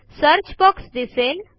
search box दिसेल